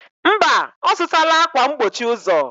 Mba, ọzụtala akwa mgbochi ụzọ.